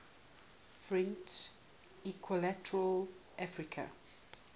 french equatorial africa